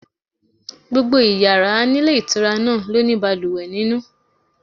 Gbogbo yàrá nílé ìtura náà ló ní balùwẹ̀ nínú.